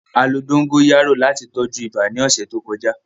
A lo dogoyaro lati tọju iba ni ọsẹ to kọja.